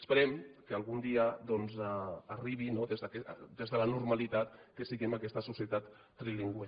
esperem que algun dia doncs arribi des de la normalitat que siguem aquesta societat trilingüe